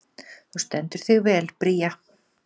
Þú stendur þig vel, Bría!